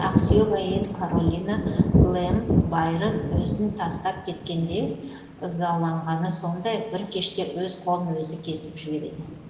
ақсүйек әйел каролина лэм байрон өзін тастап кеткенде ызаланғаны сондай бір кеште өз қолын өзі кесіп жібереді